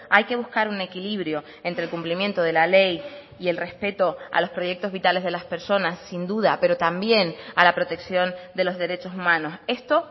hay que buscar un equilibrio entre el cumplimiento de la ley y el respeto a los proyectos vitales de las personas sin duda pero también a la protección de los derechos humanos esto